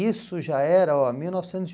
Isso já era, ó, mil novecentos e